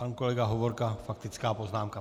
Pan kolega Hovorka, faktická poznámka.